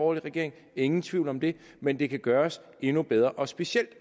regering ingen tvivl om det men det kan gøres endnu bedre og specielt